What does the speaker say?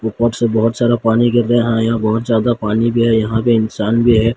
ऊपर से बहोत सारा पानी गिर रहा है यहां बहोत ज्यादा पानी भी है यहां पे इंसान भी है।